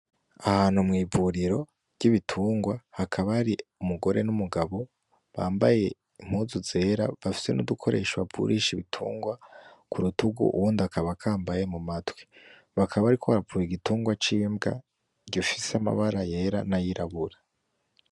Ahantu mw'ivuriro ry'ibitungwa , hakaba hari umugore n'umugabo bambaye impuzu zera bafise n'udukoresho bavurisha ibitungwa kurutugu , uwundi akaba akambaye ku matwi, bakaba bariko bavura igitungwa c'imbwa gifise amabara yera n'ayirabura.